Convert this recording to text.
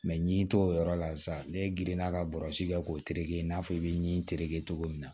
n ɲe t'o yɔrɔ la sa ne gerenna ka bɔrɔsi kɛ k'o tereke i n'a fɔ i bɛ n'i tereke cogo min na